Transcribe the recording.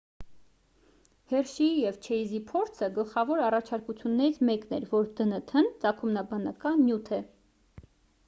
հերշիի և չեյզի փորձը գլխավոր առաջարկություններից մեկն էր որ դնթ-ն ծագումնաբանական նյութ է